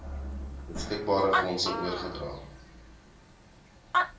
beskikbare fondse oorgedra